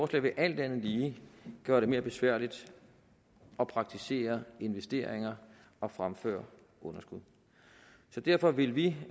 vil alt andet lige gøre det mere besværligt at praktisere investeringer og fremføre underskud så derfor vil vi